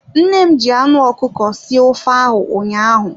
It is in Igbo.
Nne m ji anụ ọkụkọ sie ofe ahụ ụnyaahụ.